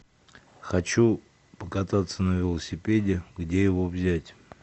хочу покататься на велосипеде где его взять